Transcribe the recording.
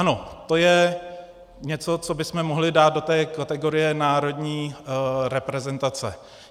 Ano, to je něco, co bychom mohli dát do té kategorie národní reprezentace.